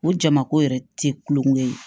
O jamako yɛrɛ tɛ kulonkɛ ye